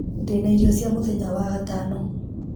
ndĩna irio cia mũthenya wagatano